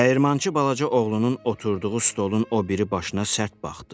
Dəyirmançı balaca oğlunun oturduğu stolun o biri başına sərt baxdı.